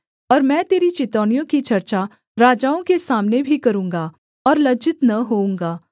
और मैं तेरी चितौनियों की चर्चा राजाओं के सामने भी करूँगा और लज्जित न होऊँगा